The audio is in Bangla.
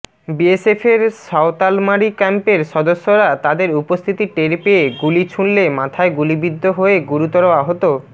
বিএসএফের সয়তালমারী ক্যাম্পের সদস্যরা তাদের উপস্থিতি টের পেয়ে গুলি ছুড়লে মাথায় গুলিবিদ্ধ হয়ে গুরুতর আহত